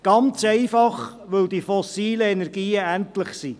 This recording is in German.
Das ist ganz einfach so, weil die fossilen Energien endlich sind.